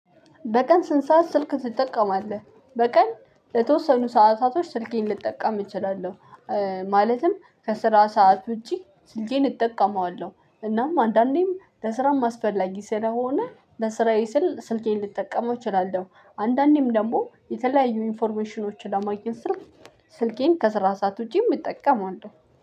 በቀን ስንት ሰዓት ስልክ ትጠቀማለህ። በቀን ለተወሰኑ ሰዓታቶች ስልኬን ልጠቀም እችላለሁ። ማለትም ከስራ ሰዓት ውጪ ስልኬን እጠቀመዋለሁ። እናም አንዳንዴም ለስራም አስፈላጊ ስለሆነ ለስራዬ ስል ስልኬን ልጠቀመው እችላለሁ። አንዳንዴም ደግሞ የተለያዩ ኢንፎርሜሽኖችን ለማግኘት ስል ስልኬን ከስራ ሰዓት ውጪ እጠቀማለሁ።